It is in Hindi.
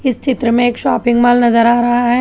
चित्र में शॉपिंग मॉल नजर आ रहा है।